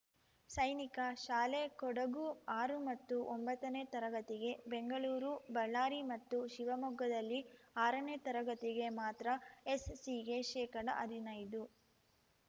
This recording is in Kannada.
ಸೈನಿಕ ಶಾಲೆ ಕೊಡಗು ಆರು ಮತ್ತು ಒಂಬತ್ತನೇ ತರಗತಿಗೆ ಬೆಂಗಳೂರು ಬಳ್ಳಾರಿ ಮತ್ತು ಶಿವಮೊಗ್ಗದಲ್ಲಿ ಆರನೇ ತರಗತಿಗೆ ಮಾತ್ರ ಎಸ್‌ಸಿಗೆ ಶೇಕಡಹದಿನೈದು